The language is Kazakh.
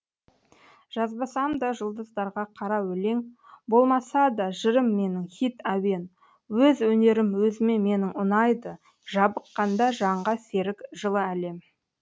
жазбасам да жұлдыздарға қара өлең болмаса да жырым менің хит әуен өз өнерім өзіме менің ұнайды жабыққанда жанға серік жылы әлем